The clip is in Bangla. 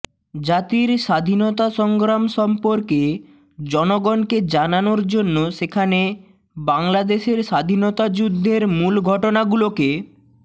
জাতির স্বাধীনতা সংগ্রাম সম্পর্কে জনগণকে জানানোর জন্য সেখানে বাংলাদেশের স্বাধীনতা যুদ্ধের মূল ঘটনাগুলোকে